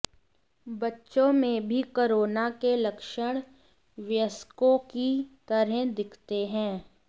बच्चों में भी कोरोना के लक्षण वयस्कों की तरह दिखते हैं